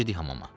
Girdik hamama.